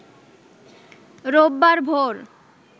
রোববার ভোর